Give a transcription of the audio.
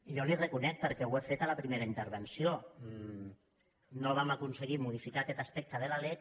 jo li ho reconec perquè ho he fet a la primera intervenció no vam aconseguir modificar aquest aspecte de la lec